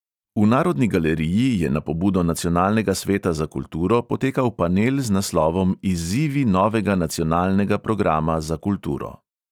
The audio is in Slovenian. V narodni galeriji je na pobudo nacionalnega sveta za kulturo potekal panel z naslovom izzivi novega nacionalnega programa za kulturo.